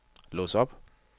lås op